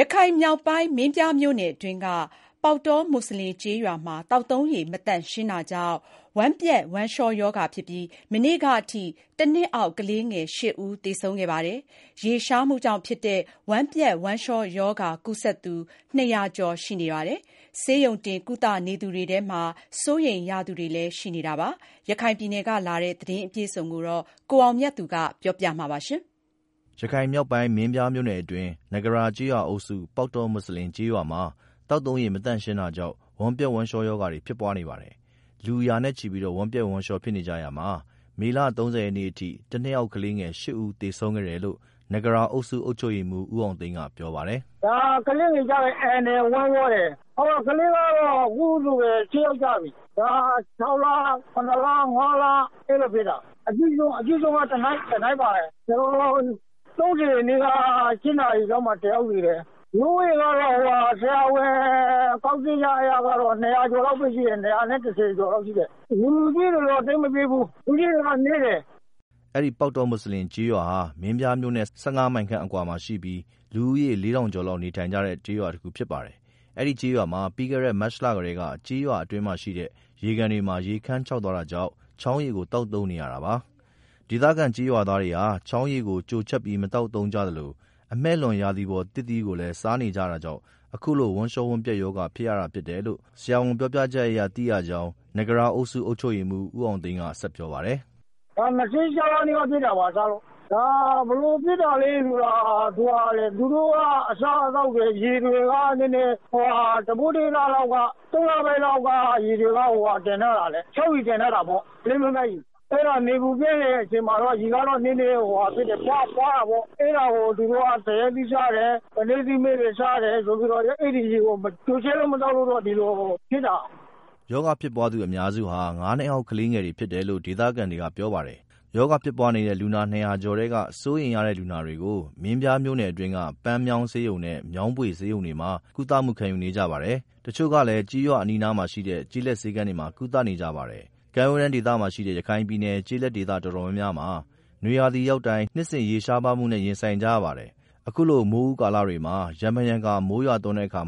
ရခိုင်မြောက်ပိုင်း မင်းပြားမြို့နယ်အတွင်းက ပေါက်တောမွတ်ဆလင်ကျေးရွာမှာ သောက်သုံးရေ မသန့် ရှင်းတာကြောင့်ဝမ်းပျက် ဝမ်းလျှောရောဂါ ဖြစ်ပြီး မနေ့ကအထိ တစ်နှစ်အောက် ကလေးငယ် ၈ ဦးသေဆုံးခဲ့ပါတယ်။ ရေရှားမှုကြောင့်ဖြစ်တဲ့ ဝမ်းပျက်ဝမ်းလျှောရောဂါ ကူးစက်သူ ၂၀၀ကျော်ရှိပါတယ်။ ဆေးရုံတင်ကုသနေသူတွေထဲမှာ စိုးရိမ်ရသူတွေရှိနေပါတယ်။ ရခိုင်ပြည်နယ်က လာတဲ့သတင်းအပြည့်အစုံကို ကိုအောင်မြတ်သူက တင်ပြပေးပါမယ်။ ရခိုင်မြောက်ပိုင်း ၊ မင်းပြားမြို့နယ်အတွင်းက နဂရာကျေးရွာအုပ်စု ပေါက်တောမွတ်ဆလင် ကျေးရွာမှာ သောက်သုံးရေ မသန့် ရှင်းတာကြောင့် ဝမ်းပျက် ဝမ်းလျှောရောဂါတွေ ဖြစ်ပွားနေပါတယ်။ ရာနဲ့ချီပြီး ဝမ်းပျက် ဝမ်းလျှော်ဖြစ်နေကြတာမှာ မေလ ၃၀ ရက်နေ့အထိ တစ်နှစ်အောက်ကလေးငယ် ၈ ဦး သေဆုံးခဲ့တယ်လို့ နဂရာအုပ်စုအုပ်ချုပ်ရေးမှူး ဦးအောင်သိန်းက ပြောပါတယ်။ “ကလေးတွေကတော့ အန်တယ်။ ဝမ်းသွားတယ်။ ကလေးက အခုဆိုရင် ၈ ယောက်သေပြီ ၆ လ ၇ လ ၅ လ ကလေးတွေ ဖြစ်တာ။ အကြီးဆုံးကတော့ တစ်နှစ်သားတွေပေါ့။ ၃၀ ရက်နေ့က ၈ နာရီလောက်မှာ တစ်ယောက် သေတယ်။ လူဦးရေကတော့ ဆရာဝန်ပြောပြချက်အရ ၂၀၀ ကျော်လောက်တော့ရှိတယ်။ လူကြီးတွေကတော့ သိပ်မဖြစ်ဘူး လူကြီးတွေက နည်းတယ်။” အဲဒီ ပေါက်တော မွတ်ဆလင်ကျေးရွာဟာ မင်းပြားမြို့နဲ့ ၁၅မိုင်ခန့် အကွာမှာရှိပြီး လူဦးရေလေးထောင်ကျော်လောက် နေထိုင်တဲ့ ကျေးရွာတစ်ခုဖြစ်ပါတယ်။ အဲဒီကျေးရွာမှာ ပြီးခဲ့တဲ့ မတ်လကတည်းက ကျေးရွာအတွင်းရှိ ရေကန်တွေမှာ ရေခန်းခြောက်သွားတာကြောင့် ချောင်းရေကို သောက်သုံးနေရတာပါ။ ဒေသခံကျေးရွာသားတွေဟာ ချောင်းရေကို ကျိုချက်ပြီးမသောက်သုံးကြသလို အမှည့်လွန် ရာသီပေါ် သစ်သီးတွေကို စားနေကြတာကြောင့်အခုလို ဝမ်းလျှော ဝမ်းပျက် ရောဂါဖြစ်ရတာဖြစ်တယ်လို့ ဆရာဝန်ပြောပြချက်အရ သိရတယ်လို့ နဂရာအုပ်စု အုပ်ချုပ်ရေးမှူး ဦးအောင်သိန်းကပြောပါတယ်။ “ဒီလ ၂၆ ရက်နေ့က ဖြစ်တာပါစလို့ ဘယ်လို ဖြစ်တာလည်းဆိုတော့ သူတို့က အစားအသောက်တွေ ရေတွေက သုံးလပိုင်းလောက် ကတည်းက ချောင်းရေကို တင်ထားရတာ။ နေပူပြင်းတဲ့ အချိန်မှာတော့ ရေတွေက ပွတာပေါ့။ အဲတာကို သူတို့က သရက်သီးစားတယ်။ ပိန္နဲသီးမှည့်တွေ စားတယ်။ အဲဒီရေတွေကို ကျိုချက်ပြီး မသောက်လို့ ဒီလိုဖြစ်တာ။” ရောဂါဖြစ်ပွားသူအများစုဟာ ငါးနှစ်အောက်ကလေးတွေဖြစ်တယ်လို့ ဒေသခံတွေက ပြောပါတယ်။ ရောဂါဖြစ်ပွားနေတဲ့ လူနာ ၂၀၀ ကျော်ထဲက စိုးရိမ်ရတဲ့ လူနာတွေကို မင်းပြားမြို့နယ်အတွင်းက ပန်းမြောင်းဆေးရုံနဲ့ မြောင်းဗွေဆေးရုံတွေမှာ ကုသမှုခံယူနေကြပါတယ်။ တစ်ချို့ကလည်း ကျေးရွာအနီးအနား မှာရှိတဲ့ ကျေးလက်ဆေးခန်းတွေမှာ ကုသနေကြပါတယ်။ ကန်းရိုးတန်းဒေသဖြစ်တဲ့ ရခိုင်ပြည်နယ်က ကျေးလက်ဒေသ တော်တော်များများမှာ နွေရာသီ ရောက်တိုင်း နှစ်စဉ်ရေရှား ပါးမှုနဲ့ရင်ဆိုင်ကြရပါတယ်။ အခုလိုမိုးဦးကာလတွေမှာ ရံဖန်ရံခါ မိုးရွာသွန်းတဲ့အခါ